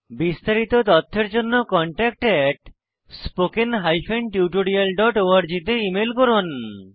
বিস্তারিত তথ্যের জন্য contactspoken tutorialorg তে ইমেল করুন